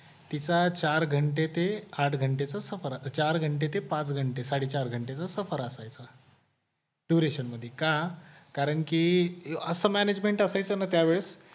तिचा चार घंटे ते आठ घंट्याचा सफर असा चार घंटे ते पाच घंटे साडेचार घंटेचा सफर असायचं duration मध्ये का कारण की असं management असेल त्यांना त्यावेळेस